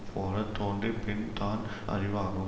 போல தோற்றிப் பின் தான் அறிவாகும்